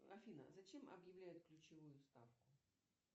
афина зачем объявляют ключевую ставку